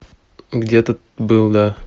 где то был да